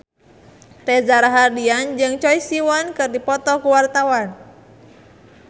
Reza Rahardian jeung Choi Siwon keur dipoto ku wartawan